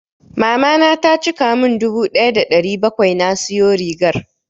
Mamana ta cika mun dubu ɗaya da ɗari bakwai na siyo rigar.